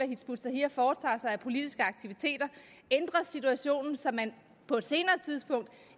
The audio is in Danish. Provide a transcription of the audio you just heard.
hizb ut tahrir foretager sig af politiske aktiviteter ændres situationen så man på et senere tidspunkt